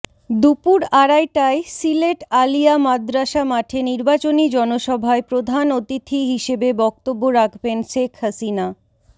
দুপুর আড়াইটায় সিলেট আলিয়া মাদ্রাসা মাঠে নির্বাচনী জনসভায় প্রধান অতিথি হিসেবে বক্তব্য রাখবেন শেখ হাসিনা